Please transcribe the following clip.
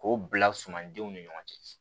K'o bila sumandenw ni ɲɔgɔn cɛ